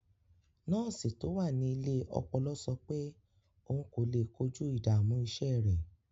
Nọ́ọ̀sì tó wà ní ilé ọpọlọ sọ pé òun kò lè kojú ìdààmú iṣẹ́ rẹ̀.